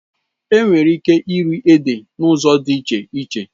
Enwere ike iri ede n'ụzọ dị iche iche